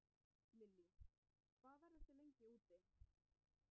Lillý: Hvað verðið þið lengi úti?